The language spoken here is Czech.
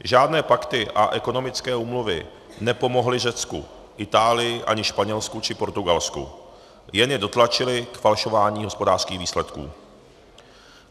Žádné pakty a ekonomické úmluvy nepomohly Řecku, Itálii ani Španělsku či Portugalsku, jen je dotlačily k falšování hospodářských výsledků.